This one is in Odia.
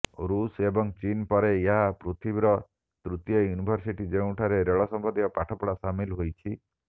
ଋଷ ଏବଂ ଚୀନ ପରେ ଏହା ପୃଥିବୀର ତୃତୀୟ ୟୁନିଭର୍ସିଟି ଯେଉଁଠି ରେଳ ସମ୍ବନ୍ଧୀୟ ପାଠପଢ଼ା ସାମିଲ ହୋଇଛି